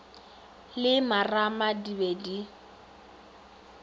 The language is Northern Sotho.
le marama di be di